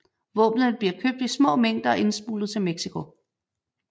Våbnene bliver købt i små mængder og indsmuglet til Mexico